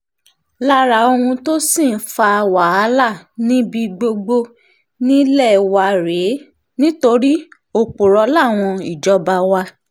lára ohun tó sì ń fa wàhálà níbi gbogbo nílé wa rèé nítorí òpùrọ́ làwọn ìjọba wa